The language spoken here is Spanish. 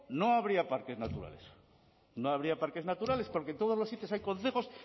no habría parques naturales no habría parques naturales porque en todos los sitios hay concejos